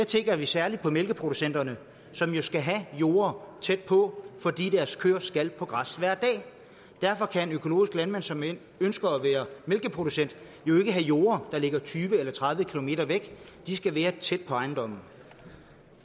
tænker vi særlig på mælkeproducenterne som jo skal have jorde tæt på fordi deres kører skal på græs hver dag derfor kan en økologisk landmand som ønsker at være mælkeproducent ikke have jorde der ligger tyve eller tredive km væk de skal være tæt på ejendommen